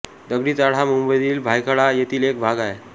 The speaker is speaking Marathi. दगडी चाळ हा मुंबईतील भायखळा येथील एक भाग आहे